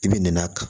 I bɛ nɛn'a kan